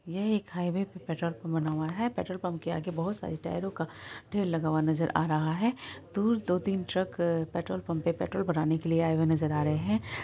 यह एक हाईवे पे पेट्रोल पंप बना हुआ है। पेट्रोल पंप पे बहुत सारे टायरों का ढेर बना नजर आ रहा है। दूर दो तीन ट्रक पेट्रोल पंप में पट्रोल भरने के लिए आए हुए नजर आ रहा है।